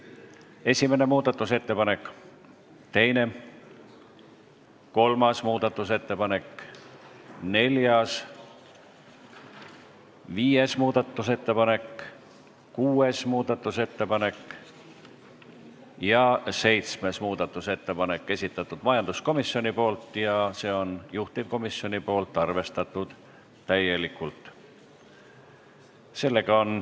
Esimene muudatusettepanek, teine, kolmas, neljas, viies, kuues ja seitsmes muudatusettepanek, esitanud majanduskomisjon ja see on juhtivkomisjon, arvestatud täielikult.